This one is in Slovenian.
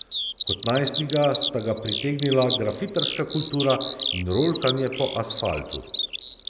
Kot najstnika sta ga pritegnila grafitarska kultura in rolkanje po asfaltu.